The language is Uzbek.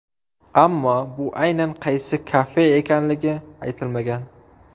Ammo bu aynan qaysi kafe ekanligi aytilmagan.